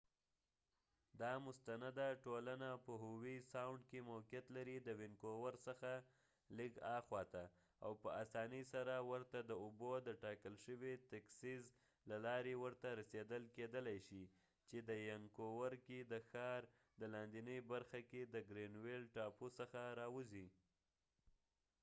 دا مستنده ټولنه په هووي ساوڼد کې موقعیت لري د وينکوور څخه لږ اخواته ،او په اسانی سره ورته د اوبو ډتاکل شوي تیکسیس له لارې ورته رسیدل کېدلای شي چې د ینکوور کې د ښار د لاندېني برخه کې د ګرینويل ټاپو څخه راوځی